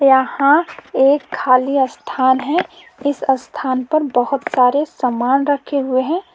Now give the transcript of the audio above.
यहाँ एक खाली स्थान है इस स्थान पर बहुत सारे समान रखे हुए हैं।